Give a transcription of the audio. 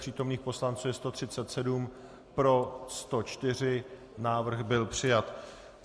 Přítomných poslanců je 137, pro 104, návrh byl přijat.